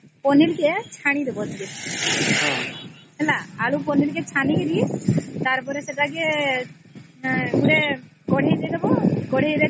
ପନିର କେ ଛାଣି ଦବ ଟିକେ ଆଳୁ ପନିର କୁ ଛାଣି କି ତାର ପରେ ସେଟା କେ କାଧେଇ ଦେଇ ଦବ କଢେଇ ର ତେଲ